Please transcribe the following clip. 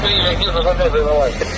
Dayan, dayan, dayan.